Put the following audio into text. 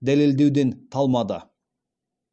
дәлелдеуден талмады